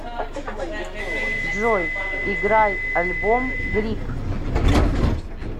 джой играй альбом грип